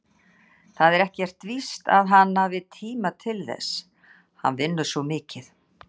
Það er ekkert víst að hann hafi tíma til þess, hann vinnur svo mikið.